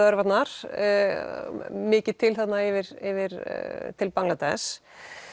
örvarnar mikið til þarna yfir yfir til Bangladesh